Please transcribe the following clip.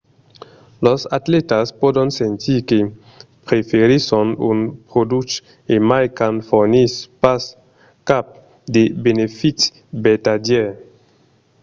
los atlètas pòdon sentir que preferisson un produch e mai quand fornís pas cap de benefici vertadièr